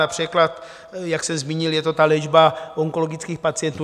Například, jak jsem zmínil, je to ta léčba onkologických pacientů.